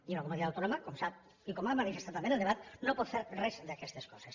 i una comunitat autònoma com sap i com va manifestar també en el debat no pot fer res d’aquestes coses